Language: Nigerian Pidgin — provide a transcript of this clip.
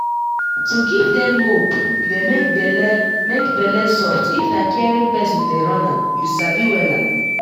to give dem hope dey make bele make bele soft if na caring person dey run am you sabi wella